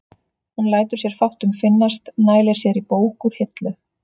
Hún lætur sér fátt um finnast, nælir sér í bók úr hillu.